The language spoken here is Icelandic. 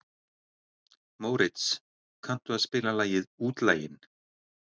Mórits, kanntu að spila lagið „Útlaginn“?